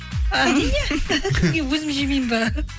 әрине енді өзім жемеймін ба